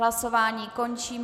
Hlasování končím.